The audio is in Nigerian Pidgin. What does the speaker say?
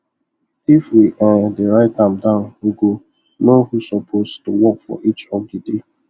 if we um dey write am down we go know who suppose to work for each of the day